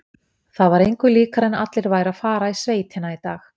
Það var engu líkara en allir væru að fara í sveitina í dag.